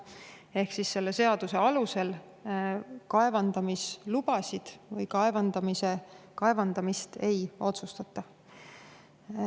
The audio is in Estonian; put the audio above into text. Ehk: selle seaduse alusel kaevandamislubade või kaevandamist ei otsustata.